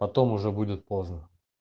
потом уже будет поздно